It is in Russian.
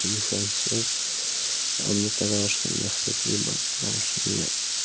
телефон сел а мне казалось что меня хотят въебать может мне